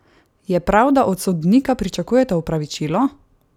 Je prav, da od sodnika pričakuje opravičilo?